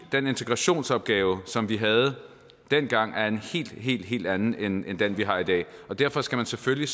den integrationsopgave som vi havde dengang var en helt helt helt anden end den vi har i dag derfor skal man selvfølgelig